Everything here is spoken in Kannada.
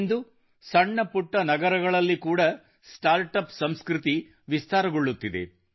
ಇಂದು ಸಣ್ಣ ಪುಟ್ಟ ನಗರಗಳಲ್ಲಿ ಕೂಡ ಸ್ಟಾರ್ಟ್ ಅಪ್ ಸಂಸ್ಕೃತಿ ವಿಸ್ತೃತಗೊಳ್ಳುತ್ತಿದೆ